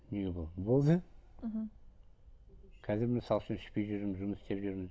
болды мхм қазір мысалы үшін ішпей жүрмін жұмыс істеп жүрмін